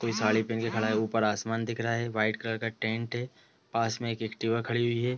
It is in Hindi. कोई साड़ी पेहेन के खड़ा है ऊपर आसमान दिख रहा है वाइट कलर का टेंट है पास में एक एक्टिवा खड़ी हुई है।